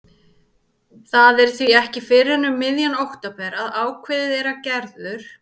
Það er því ekki fyrr en um miðjan október að ákveðið er að Gerður